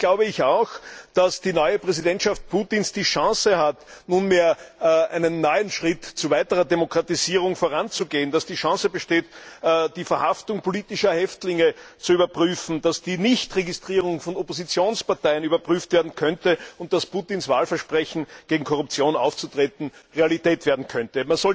Allerdings glaube ich auch, dass die neue Präsidentschaft Putins die Chance hat, nunmehr einen neuen Schritt zu weiterer Demokratisierung voranzugehen, dass die Chance besteht, die Verhaftung politischer Häftlinge zu überprüfen, dass die Nichtregistrierung von Oppositionsparteien überprüft werden könnte und dass Putins Wahlversprechen, gegen Korruption aufzutreten, Realität werden könnte.